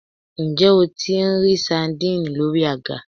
Ǹjẹ́ o tí n rí sadínìnnì lórí àga?